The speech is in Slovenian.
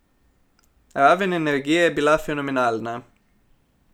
Raven energije je bila fenomenalna.